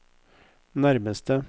nærmeste